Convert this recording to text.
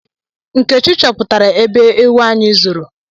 Nkechi chọpụtara ebe ewu anyị zoro